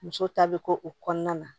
Muso ta bɛ kɛ o kɔnɔna na